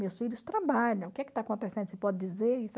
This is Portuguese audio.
Meus filhos trabalham, o que que está acontecendo, você pode dizer?